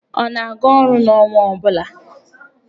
Ọ na-aga orụ n'ọnwa ọ bụla?